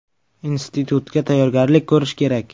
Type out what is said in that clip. Institutga tayyorgarlik ko‘rishi kerak.